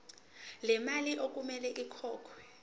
lemali okumele ikhokhelwe